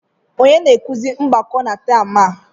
Onye na-akụzi mgbakọ na taam a?